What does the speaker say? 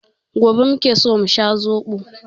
Gobe muke so mu sha zobo.